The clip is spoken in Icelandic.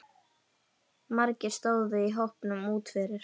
Margir stóðu í hópum úti fyrir.